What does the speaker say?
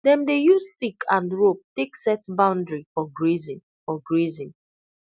dem dey use stick and rope take set boundary for grazing for grazing